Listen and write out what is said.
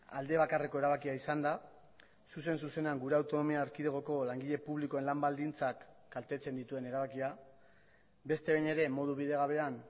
alde bakarreko erabakia izan da zuzen zuzenean gure autonomia erkidegoko langile publikoen lan baldintzak kaltetzen dituen erabakia beste behin ere modu bidegabean